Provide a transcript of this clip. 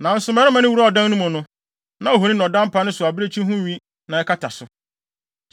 Nanso mmarima no wuraa ɔdan no mu no, na ohoni na ɔda mpa no so a abirekyi ho nwi na ɛkata so.